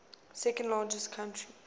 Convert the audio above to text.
second largest country